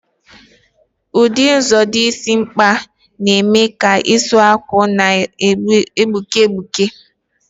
Ụdị edozi isi nke Gorimakpa na-eme ka isi awọ na-egbuke egbuke.